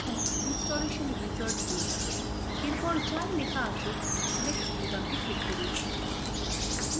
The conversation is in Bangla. এখন ইনস্টলেশন wizard খুলে যাবে এরপর যাই লেখা আসুক next বোতামটি click করুন